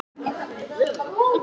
Veiddu skútu í troll